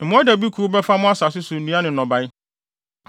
Mmoadabi kuw bɛfa mo asase so nnua ne nnɔbae.